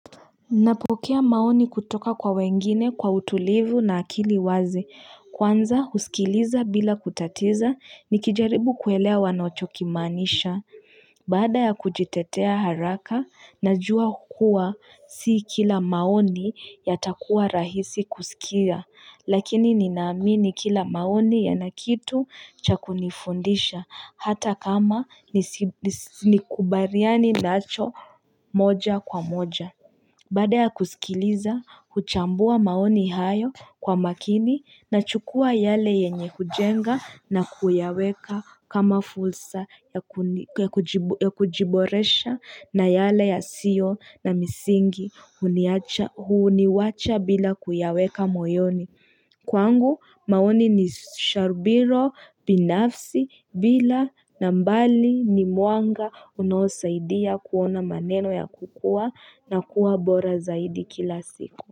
Napokea maoni kutoka kwa wengine kwa utulivu na akili wazi. Kwanza husikiliza bila kutatiza, nikijaribu kuelewa wanochokimaanisha. Baada ya kujitetea haraka, najua kuwa sii kila maoni yatakuwa rahisi kusikia. Lakini ninaamini kila maoni yana kitu cha kunifundisha hata kama nikubariani nacho moja kwa moja. Baada ya kusikiliza, huchambua maoni hayo kwa makini nachukua yale yenye kujenga na kuyaweka kama fursa ya ya kujiboresha na yale yasio na misingi huniwacha bila kuyaweka moyoni. Kwangu maoni ni sharubiro binafsi bila na mbali ni mwanga unaosaidia kuona maneno ya kukuwa na kuwa bora zaidi kila siku.